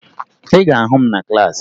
Ị ga-ahụ m na klaasị